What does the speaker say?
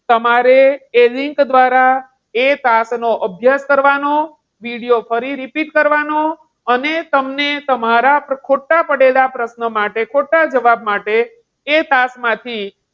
તમારે link દ્વારા એ class નો અભ્યાસ કરવાનો, video પર repeat કરવાનો. અને તમને તમારા ખોટા પડેલા પ્રશ્નો માટે, ખોટા જવાબ માટે એક class માંથી,